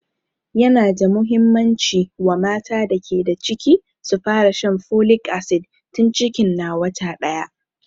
Yana da muhimmanci wa mata da ke da ciki su fara shan folic acid tun cikin na wata ɗaya